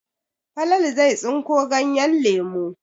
Falalu zai tsinko ganyen lemu.